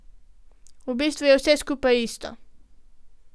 V bistvu je vse skupaj isto.